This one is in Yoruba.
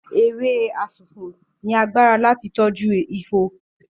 Ewé asunwun ní a lẹ fí toju àléfọ